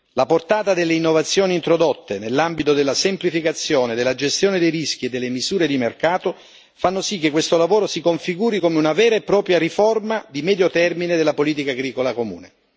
La portata delle innovazioni introdotte nell'ambito della semplificazione, della gestione dei rischi e delle misure di mercato fa sì che questo lavoro si configuri come una vera e propria riforma di medio termine della politica agricola comune.